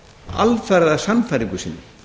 alfarið að sannfæringu sinni